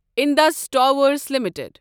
Indus Towers limited